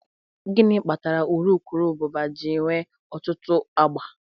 Gịnị kpatara urukurubụba ji nwee ọtụtụ agba?